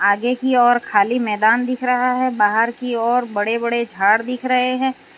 आगे की ओर खाली मैदान दिख रहा है बाहर की और बड़े बड़े झाड़ दिख रहे हैं।